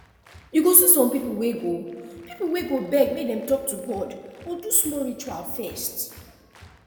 you go see some people wey go people wey go beg make dem talk to god or do small ritual first